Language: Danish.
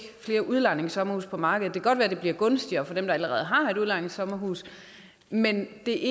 flere udlejningssommerhuse på markedet det kan godt være det bliver gunstigere for dem der allerede har et udlejningssommerhus men det